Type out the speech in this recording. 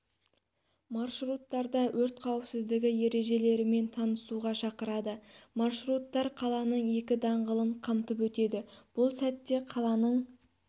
маршруттарда өрт қауіпсіздігі ережелерімен танысуға шақырады маршруттар қаланың екі даңғылын қамтып өтеді бұл сәтте қаланың